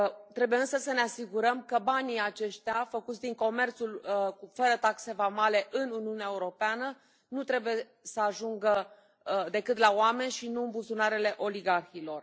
Trebuie însă să ne asigurăm că banii aceștia, făcuți din comerțul fără taxe vamale în Uniunea Europeană, nu trebuie să ajungă decât la oameni și nu în buzunarele oligarhilor.